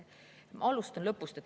Alustan lõpust.